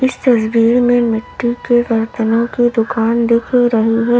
इस तस्वीर में मिट्टी के बर्तनों की दुकान दिख रही है।